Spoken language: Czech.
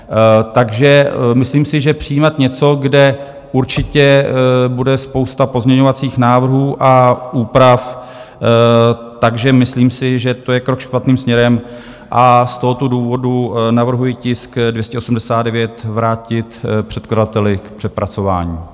Takže myslím si, že přijímat něco, kde určitě bude spousta pozměňovacích návrhů a úprav, takže myslím si, že to je krok špatným směrem, a z tohoto důvodu navrhuji tisk 289 vrátit předkladateli k přepracování.